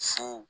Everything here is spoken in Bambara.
Fo